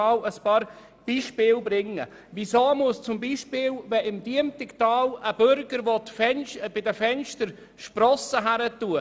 Aus welchem Grund müssen drei Personen an einer Begehung teilnehmen, wenn im Diemtigtal ein Bürger Sprossen an seinen Fenstern befestigen will?